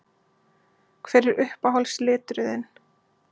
Hver er uppáhalds liturinn þinn?